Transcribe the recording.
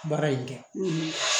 Baara in kɛ